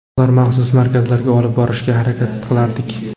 Ularni maxsus markazlarga olib borishga harakat qilardik.